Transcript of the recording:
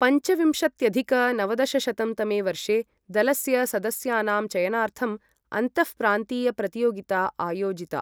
पञ्चविंशत्यधिक नवदशशतं तमे वर्षे दलस्य सदस्यानां चयनार्थं अन्तःप्रान्तीयप्रतियोगिता आयोजिता।